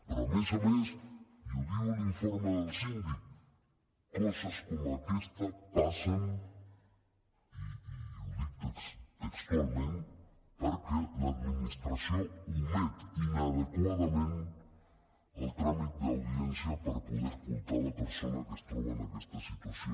però a més a més i ho diu l’informe del síndic coses com aquesta passen i ho dic textualment perquè l’administració omet inadequadament el tràmit d’audiència per poder escoltar la persona que es troba en aquesta situació